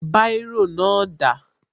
Báírò náà dà?